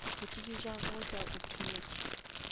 dithuto tša gagwe tša optometry